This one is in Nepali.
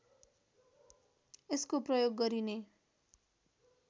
यसको प्रयोग गरिने